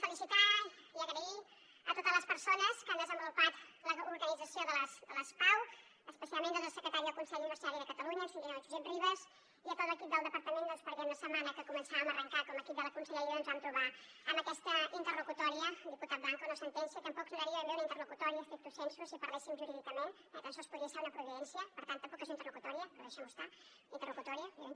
felicitar i donar les gràcies a totes les persones que han desenvolupat l’organització de les pau especialment al secretari del consell universitari de catalunya el senyor josep ribas i a tot l’equip del departament perquè la setmana que començàvem a arrencar com a equip de la conselleria ens vam trobar amb aquesta interlocutòria diputat blanco no sentència tampoc seria ben bé una interlocutòria stricto sensu si parléssim jurídicament tan sols podria ser una providència per tant tampoc és una interlocutòria però deixem ho estar